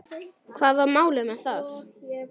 Hvað var málið með það?